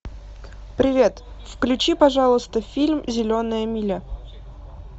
привет включи пожалуйста фильм зеленая миля